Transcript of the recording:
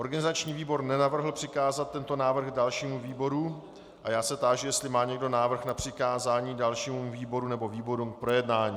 Organizační výbor nenavrhl přikázat tento návrh dalšímu výboru a já se táži, jestli má někdo návrh na přikázání dalšímu výboru nebo výborům k projednání.